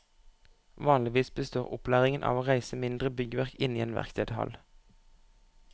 Vanligvis består opplæringen av å reise mindre byggverk inne i en verkstedhall.